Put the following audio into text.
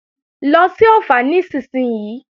Lọ sí Ọ̀ffà nísinsìnyí!